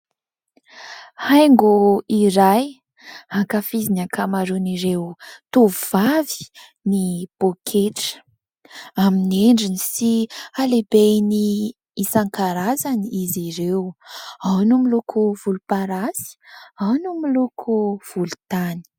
Haingo iray ankafizin'ny ankamaroan'ireo tovovavy ny poketra, amin'ny endriny sy halehibeny isan-karazany izy ireo, ao no miloko volomparasy, ao no miloko volontany.